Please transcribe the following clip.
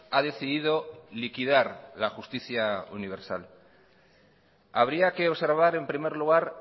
ha decidido liquidar la justicia universal habría que observar en primer lugar